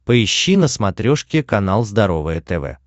поищи на смотрешке канал здоровое тв